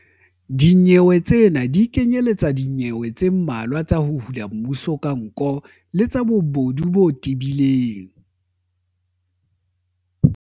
Dinyewe tsena di kenyeletsa dinyewe tse mmalwa tsa 'ho hula mmuso ka nko' le tsa bobodu bo tebileng.